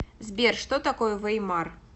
сбер что такое веймар